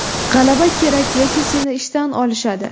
G‘alaba kerak yoki seni ishdan olishadi”.